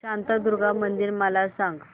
शांतादुर्गा मंदिर मला सांग